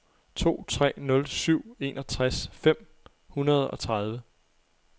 to tre nul syv enogtres fem hundrede og tredive